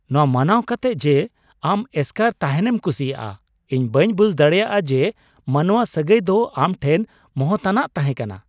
ᱱᱚᱣᱟ ᱢᱟᱱᱟᱣ ᱠᱟᱛᱮᱜ ᱡᱮ ᱟᱢ ᱮᱥᱠᱟᱨ ᱛᱟᱦᱮᱱᱮᱢ ᱠᱩᱥᱤᱭᱟᱜᱼᱟ, ᱤᱧ ᱵᱟᱹᱧ ᱵᱩᱡ ᱫᱟᱲᱮᱭᱟᱜᱼᱟ ᱡᱮ, ᱢᱟᱱᱚᱣᱟ ᱥᱟᱹᱜᱟᱹᱭ ᱫᱚ ᱟᱢ ᱴᱷᱮᱱ ᱢᱚᱦᱚᱛᱟᱱᱟᱜ ᱛᱟᱦᱮᱸᱠᱟᱱᱟ ᱾